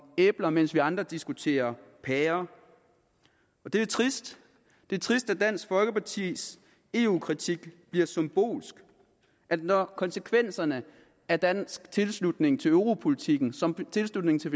æbler mens vi andre diskuterer pærer det er trist det er trist at dansk folkepartis eu kritik bliver symbolsk og at når konsekvenserne af dansk tilslutning til europolitikken som tilslutningen til